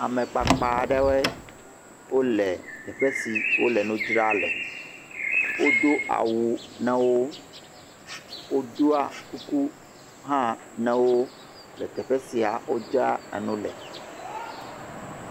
Amekpakpa aɖewoe le teƒe si wole nu dzra le. Wodo awu na wo. Wodoa kuku hã na wo le teƒe sia wodzra nu le.